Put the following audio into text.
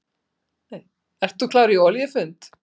Ert þú klár í olíufund?